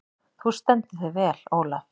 Þú stendur þig vel, Olav!